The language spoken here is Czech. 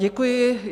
Děkuji.